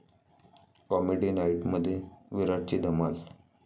comedy नाईट'मध्ये विराटची धमाल